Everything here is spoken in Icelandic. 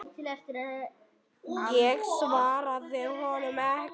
Ég svaraði honum ekki.